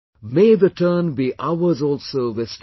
May the turn be ours also this time